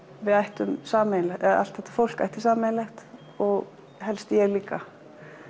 við ættum sameiginlega allt þetta fólk ætti sameiginlegt og helst ég líka